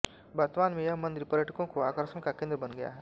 वर्तमान में यह मंदिर पर्यटकों के आकर्षण का केन्द्र बन गया है